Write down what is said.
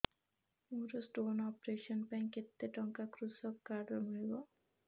ମୋର stone operation ପାଇଁ କେତେ ଟଙ୍କା କୃଷକ କାର୍ଡ ରୁ ମିଳିବ